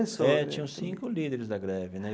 É, tinham cinco líderes da greve, né?